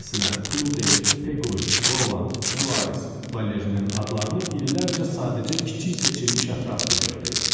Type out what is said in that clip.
Məsələn, Klodel, Peqoy, Roland, Suarez, Valerinin adlarını illərcə sadəcə kiçik seçilmiş ətraf bilirdi.